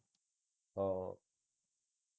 ਹਾਂ